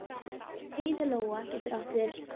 Heiðlóa getur átt við